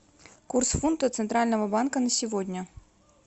курс фунта центрального банка на сегодня